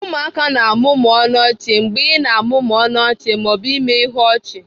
Ụmụaka na-amụmụ ọnụ ọchị mgbe ị na-amụmụ ọnụ ọchị ma ọ bụ mee ihu ọchị